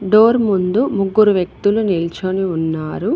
Door ముందు ముగ్గురు వ్యక్తులు నిల్చోని ఉన్నారు.